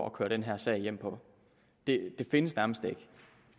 at køre den her sag hjem på det findes nærmest ikke det